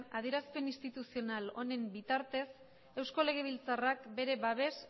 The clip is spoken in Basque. adierazpen instituzional honen bitartez eusko legebiltzarrak bere babes